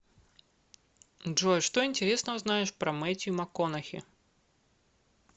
джой что интересного знаешь про метью макконахи